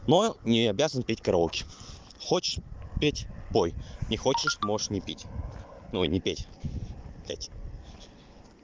не обязан петь караоке хочешь петь пой не хочешь можешь не пить ой не петь блять